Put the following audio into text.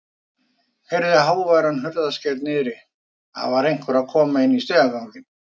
Heyrði háværan hurðarskell niðri, það var einhver að koma inn í stigaganginn.